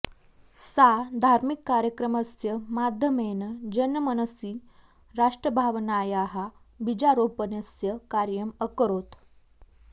सा धार्मिककार्यक्रमस्य माध्यमेन जनमनसि राष्ट्रभावनायाः बीजारोपणस्य कार्यम् अकरोत्